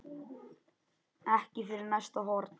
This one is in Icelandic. Ekki fyrir næsta horn.